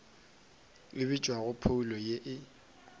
e bitšwa phoulo ye e